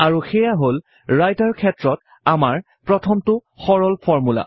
আৰু সেয়া হল ৰাইটাৰ ক্ষেত্ৰত আমাৰ প্ৰথমটো সৰল ফৰ্মূলা